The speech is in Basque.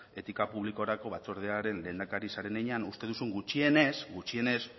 etika publikorako batzordearen lehendakari zaren heinean uste duzun gutxienez gutxienez